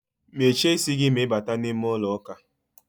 Mechie isi gi ma I bata n'ime ulo uka!